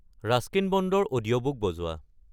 Ruskin ব'ণ্ডৰ audiobook বজোৱা